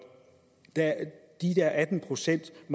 atten procent